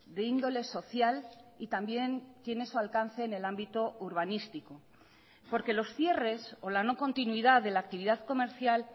de índole social y también tiene su alcance en el ámbito urbanístico porque los cierres o la no continuidad de la actividad comercial